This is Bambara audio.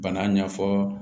Bana ɲɛfɔ